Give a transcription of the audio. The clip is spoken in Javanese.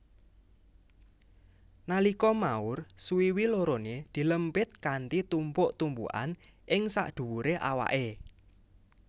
Nalika maur suwiwi loroné dilempitkanthi tumpuk tumpukan ing sadhuwuré awaké